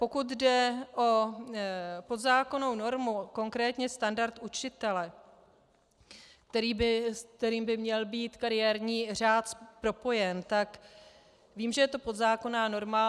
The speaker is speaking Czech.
Pokud jde o podzákonnou normu, konkrétně standard učitele, s kterým by měl být kariérní řád propojen, tak vím, že je to podzákonná norma.